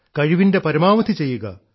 കഴിവിൻറെ പരമാവധി ചെയ്യുക